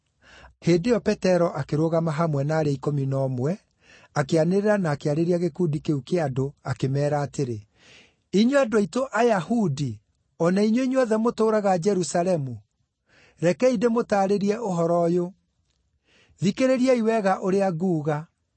Hĩndĩ ĩyo Petero akĩrũgama hamwe na arĩa ikũmi na ũmwe, akĩanĩrĩra na akĩarĩria gĩkundi kĩu kĩa andũ akĩmeera atĩrĩ, “Inyuĩ andũ aitũ Ayahudi o na inyuĩ inyuothe mũtũũraga Jerusalemu, rekei ndĩmũtaarĩrie ũhoro ũyũ; thikĩrĩriai wega ũrĩa nguuga.